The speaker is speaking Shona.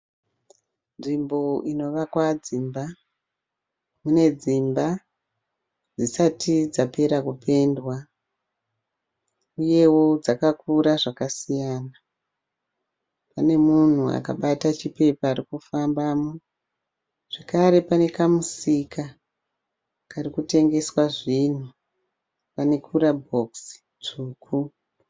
Nzvimbo inovakwa dzimba. Ine dzimba dzisati dzapera kupendwa. Uyewo dzakakura zvakasiyana. Pane munhu akabata chipepa ari kufambamo. Zvakare pane kamusika kari kutengeswa zvinhu pane kurabhokisi tsvuku .